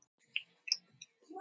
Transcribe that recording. Og segjast elska hvort annað.